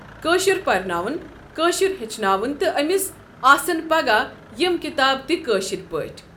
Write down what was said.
کٔاشُر پرناونہٕ کٔاشُر ہیچھناونہٕ تہٕ أمِس آسَن پگاہ یم کِتاب تہِ کٔاشِر پاٹھۍ ۔